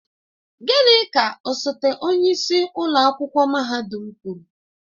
Gịnị ka osote onyeisi ụlọ akwụkwọ mahadum kwuru?